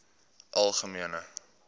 algemene